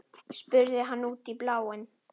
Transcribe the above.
spurði hann út í bláinn.